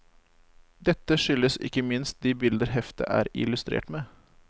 Dette skyldes ikke minst de bilder heftet er illustrert med.